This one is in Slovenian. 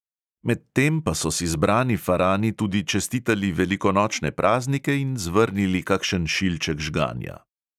Med tem pa so si zbrani farani tudi čestitali velikonočne praznike in zvrnili kakšen šilček žganja.